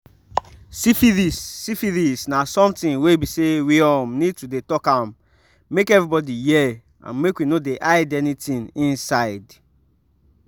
syphilis syphilis na something were be say we um need to dey talk am make everybody hear and make we no hide anything inside